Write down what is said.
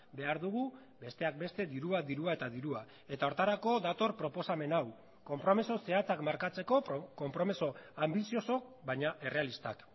behar dugu besteak beste dirua dirua eta dirua eta horretarako dator proposamen hau konpromiso zehatzak markatzeko konpromiso anbiziozo baina errealistak